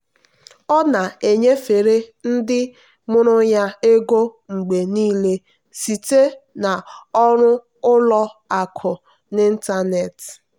ọ na-enyefere ndị mụrụ ya ego mgbe niile site na ọrụ ụlọ akụ n'ịntanetị.